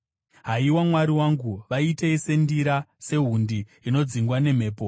Haiwa Mwari wangu, vaitei sendira, sehundi inodzingwa nemhepo.